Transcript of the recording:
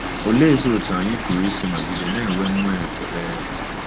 Oleezi otú anyị pụrụ isi nọgide na-enwe mmụọ ekele?